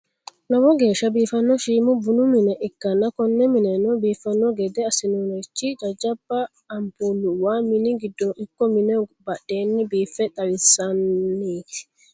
lowo geesha biifanno shiima bunnu minne ikanna konne minenno biifano gedde asinosirichi jajaba anpuluwa minnu gidooni iko minneho barandaho biife xawaseeniti.